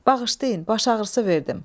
Bağışlayın, baş ağrısı verdim.